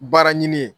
Baara ɲini ye